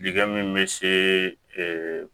Dingɛ min bɛ se